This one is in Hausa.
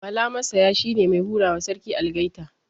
Mala Massaya shine mai hurawa Sarki Algaita